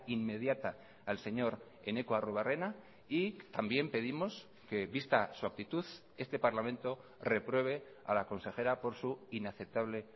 inmediata al señor eneko arruebarrena y también pedimos que vista su actitud este parlamento repruebe a la consejera por su inaceptable